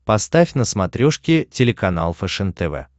поставь на смотрешке телеканал фэшен тв